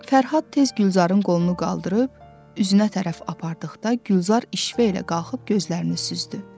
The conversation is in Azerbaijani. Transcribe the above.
Fərhad tez Gülzarın qolunu qaldırıb, üzünə tərəf apardıqda Gülzar işvə ilə qalxıb gözlərini süzdü.